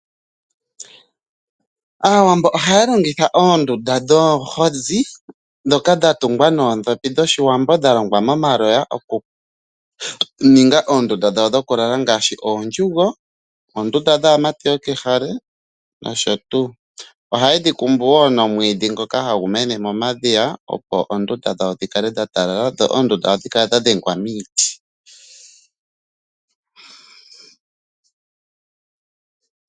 Aawambo ohaya longitha oondunda dhoohozi ndhoka dha tungwa noondhopi dhoshiwambo dha longwa momaloya okuninga oondunda dhawo dhokulala ngaashi oondjugo, oondunda dhaamati dhokehale nosho tuu. Ohaye dhi kumbu wo nomwiidhi ngoka hagu mene momadhiya opo oondunda dhawo dhi kale dhatalala dho oondunda ohadhi kala dha dhengwa miiti.